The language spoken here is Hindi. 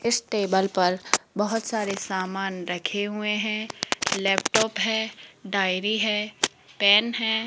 इस टेबल पर बहोत सारे सामान रखे हुए हैं लैपटॉप है डायरी है पेन है।